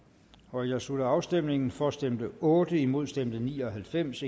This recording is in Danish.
nu jeg slutter afstemningen for stemte otte imod stemte ni og halvfems